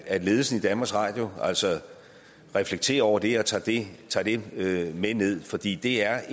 at ledelsen i danmarks radio altså reflekterer over det og tager det det med ned fordi det er